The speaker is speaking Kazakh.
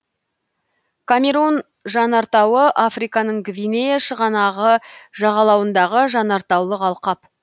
камерун жанартауы африканың гвинея шығанағы жағалауындағы жанартаулық алқап